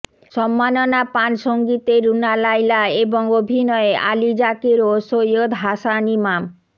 সম্মাননা পান সংগীতে রুনা লায়লা এবং অভিনয়ে আলী যাকের ও সৈয়দ হাসান ইমাম